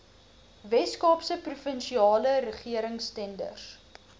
weskaapse provinsiale regeringstenders